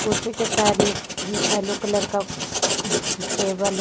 कुर्सी के साइड में येलो कलर का टेबल हैं।